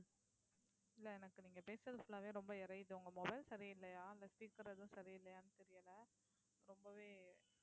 இல்லை எனக்கு நீங்க பேசறது full ஆவே ரொம்ப எரியுது உங்க mobile சரியில்லையா இல்லை speaker எதுவும் சரியில்லையான்னு தெரியலே ரொம்பவே